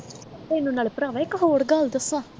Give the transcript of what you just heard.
ਤੈਨੂੰ ਨਾਲੇ ਭਰਾਵਾ ਇੱਕ ਹੋਰ ਗੱਲ ਦੱਸਾਂ